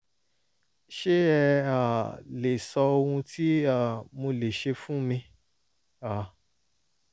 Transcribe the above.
ṣé ẹ um lè sọ ohun tí um mo lè ṣe fún mi? um